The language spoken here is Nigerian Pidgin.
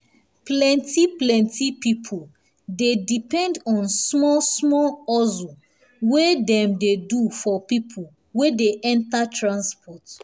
plenti plenti people dey depend on small small hustle wey dem dey do for people wey dey enter transport